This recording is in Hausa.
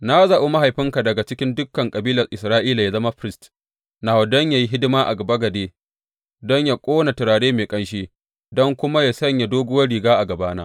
Na zaɓi mahaifinka daga cikin dukan kabilar Isra’ila yă zama firist nawa don yă yi hidima a bagade, don yă ƙona turare mai ƙanshi, don kuma yă sanya doguwar riga a gabana.